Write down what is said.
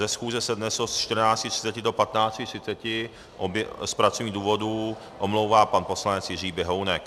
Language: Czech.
Ze schůze se dnes od 14.30 do 15.30 z pracovních důvodů omlouvá pan poslanec Jiří Běhounek.